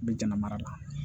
N bɛ jama mara la